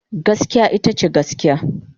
Gaskiya ita ce gaskiya.